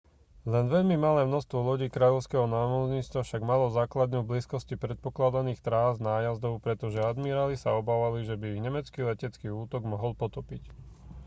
len veľmi malé množstvo lodí kráľovského námorníctva však malo základňu v blízkosti predpokladaných trás nájazdov pretože admiráli sa obávali že by ich nemecký letecký útok mohol potopiť